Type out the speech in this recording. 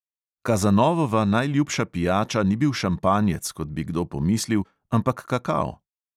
Kazanovova najljubša pijača ni bil šampanjec, kot bi kdo pomislil, ampak kakao.